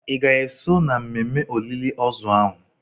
Ị ga-eso na mmemme olili ozu ahụ.